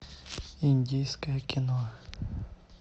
индийское кино